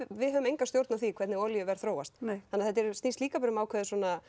við höfum enga stjórn á því hvernig olíuverð þróast þannig þetta snýst líka um ákveðið